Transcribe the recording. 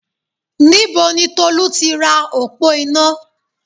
Níbo ni Tolú ti ra òpó iná?